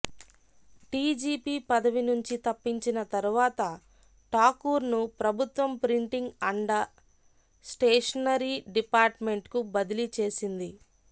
DGP పదవి నుంచి తప్పించిన తర్వాత ఠాకూర్ను ప్రభుత్వం ప్రింటింగ్ అండ స్టేషనరీ డిపార్ట్మెంట్కు బదిలీ చేసింది